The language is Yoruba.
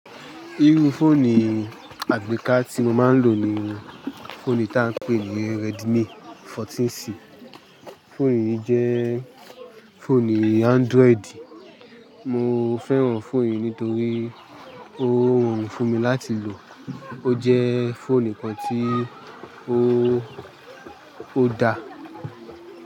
Irú fóònù àgbéká tí mo máa ń lò ní fóònù tá ń pè ní Redmi 14C. Fóònù yìí jẹ́ fóònù Android. Mo fẹ́ràn fóònù yìí nítorí ó rorùn fún mi láti lò. Ó jẹ́ fóònù kan tí ó da.